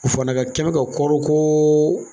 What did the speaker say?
U fana ka kɛni ka kɔɔri ko